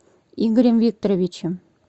игорем викторовичем